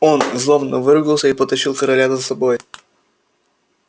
он злобно выругался и потащил короля за собой